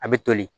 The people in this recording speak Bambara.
A bɛ toli